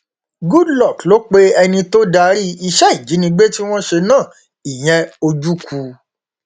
goodluck ló pe ẹni tó darí iṣẹ ìjínigbé tí wọn ṣe náà ìyẹn ojukwu